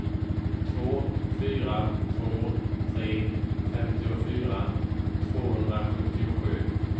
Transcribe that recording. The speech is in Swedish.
två fyra två tre femtiofyra tvåhundrasjuttiosju